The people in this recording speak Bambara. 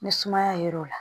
Ni sumaya yer'o la